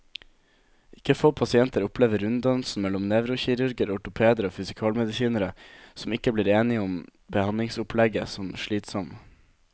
Ikke få pasienter opplever runddansen mellom nevrokirurger, ortopeder og fysikalmedisinere, som ikke blir enige om behandlingsopplegget, som slitsom.